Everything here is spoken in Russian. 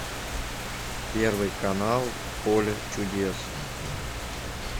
первый канал поле чудес